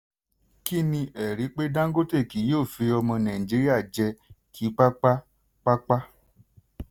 kí ni ẹ̀rí pé dangote kì yóò fi ọmọ nàìjíríà jẹ́ kíkápá-kápá?